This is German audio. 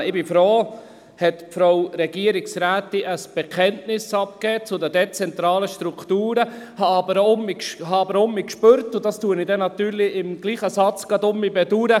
Ich bin froh, dass die Regierungsrätin ein Bekenntnis zu den dezentralen Strukturen abgegeben hat, habe aber auch gespürt – und das bedauere ich im selben Satz gleich wieder: